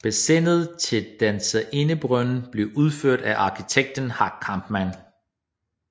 Bassinet til Danserindebrønden blev udført af arkitekten Hack Kampmann